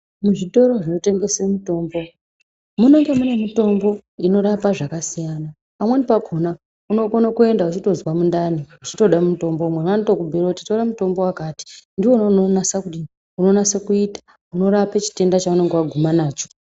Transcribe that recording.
Muzvitoro zvinotengesa mitombo munenge muine mitombo inorapa zvakasiyana. Pamweni pakona unokona kuenda uchitozwa mundani uchitoda mutombo anotokubhuira kuti tora mutombo wakati ndiwona unonasa kuita unorape chitenda chaunenge waguma nacho.